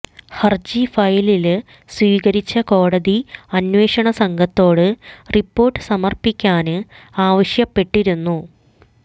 ഹര്ജി ഫയലില് സ്വീകരിച്ച കോടതി അന്വേഷണസംഘത്തോട് റിപ്പോര്ട്ട് സമര്പ്പിക്കാന് ആവശ്യപ്പെട്ടിരുന്നു